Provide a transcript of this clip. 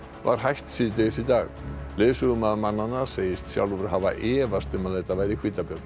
var hætt síðdegis í dag leiðsögumaður mannanna segist sjálfur hafa efast um að þetta væri hvítabjörn